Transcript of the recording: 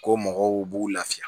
Ko mɔgɔw b'u lafiya